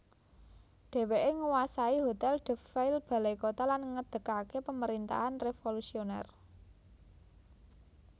Dèwèké nguwasai Hotèl de Ville Balaikota lan ngedegaké Pamerintahan reévolusionèr